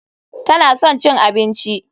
Tana son cin abinci.